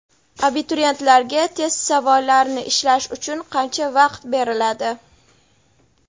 Abituriyentlarga test savollarini ishlash uchun qancha vaqt beriladi?.